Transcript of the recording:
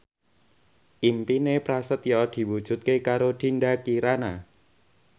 impine Prasetyo diwujudke karo Dinda Kirana